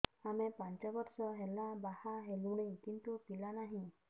ଆମେ ପାଞ୍ଚ ବର୍ଷ ହେଲା ବାହା ହେଲୁଣି କିନ୍ତୁ ପିଲା ନାହିଁ